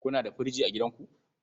Kuna da firji a gidanku?